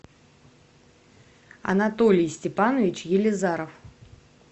анатолий степанович елизаров